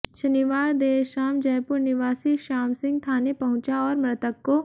शनिवार देर शाम जयपुर निवासी श्याम सिंह थाने पहुंचा और मृतक को